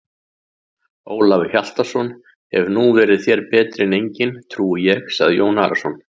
Ólafur Hjaltason hefur nú verið þér betri en enginn trúi ég, sagði Jón Arason.